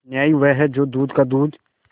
न्याय वह है जो दूध का दूध